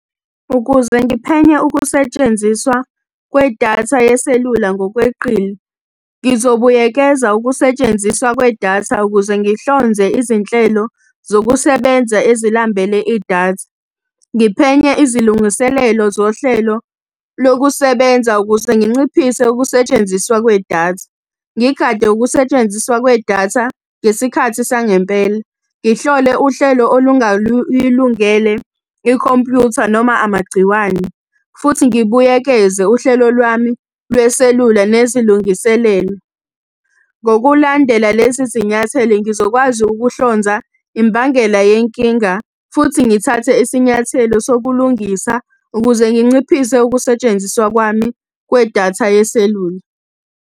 Ukuze ngiphenye ukusetshenziswa kwedatha yeselula ngokweqile, ngizobuyekeza ukusetshenziswa kwedatha ukuze ngihlonze izinhlelo zokusebenza ezilambele idatha. Ngiphenye izilungiselelo zohlelo lokusebenza ukuze nginciphise ukusetshenziswa kwedatha. Ngigade ukusetshenziswa kwedatha ngesikhathi sangempela. Ngihlole uhlelo olungayilungele ikhompuyutha noma amagciwane. Futhi ngibuyekeze uhlelo lwami lweselula nezilungiselelo. Ngokulandela lezi zinyathelo ngizokwazi ukuhlonza imbangela yenkinga, futhi ngithathe isinyathelo sokulungisa ukuze nginciphise ukusetshenziswa kwami kwedatha yeselula.